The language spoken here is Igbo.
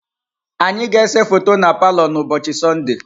Anyị ga-ese foto na palọ n'ụbọchị Sọnde.